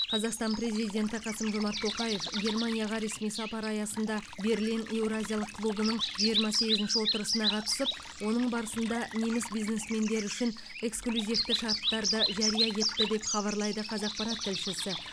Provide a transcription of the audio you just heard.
қазақстан президенті қасым жомарт тоқаев германияға ресми сапары аясында берлин еуразиялық клубының жиырма сегізінші отырысына қатысып оның барысында неміс бизнесмендері үшін эксклюзивті шарттарды жария етті деп хабарлайды қазақпарат тілшісі